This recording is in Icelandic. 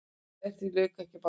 En því lauk ekki bara þar.